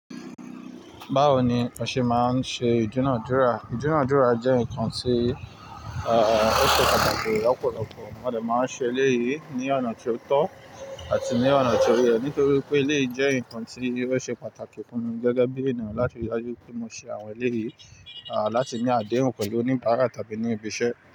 Báwo ni ọ́ ṣe máa ń ṣe ìdúnàádúrà? Ìdúnàádúrà jẹ́ nǹkan tí ò ṣe pàtàkì lọ́pọ̀lọpọ̀. Mo de máa ń ṣe eléyìí ní ọ̀nà tió tọ́ àti ní ọ̀nà tió yẹ̀ nítorí pé eléyìí jẹ́ nǹkan tí ó ṣe pàtàkì fúnmi gẹ́gẹ́ bí ènìyàn láti rí i dájú pé mo ṣe àwọn eléyìí, láti ní àdéhùn pẹ̀lú òníbàárà tàbí ní ibi iṣẹ́.